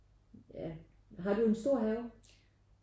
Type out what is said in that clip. Ja har du en stor have?